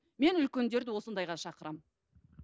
мен үлкендерді осындайға шақырамын